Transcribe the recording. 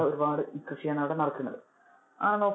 ഒരുപാട് കൃഷി ആണ് അവിടെ നടക്കുന്നത് അഹ്